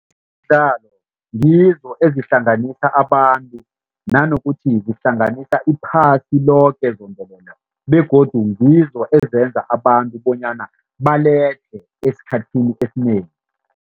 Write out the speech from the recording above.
Ngizo ezihlanganisa abantu naanokuthi kuhlanganisa iphasi loke zombelele begodu ngizo ezenza abantu bonyana baledlhe esikhathini esinengi.